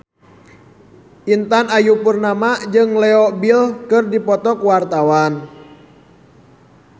Intan Ayu Purnama jeung Leo Bill keur dipoto ku wartawan